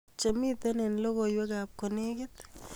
Chemiten eng logoiweab kolekit